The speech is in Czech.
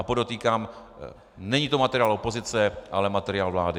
A podotýkám, není to materiál opozice, ale materiál vlády.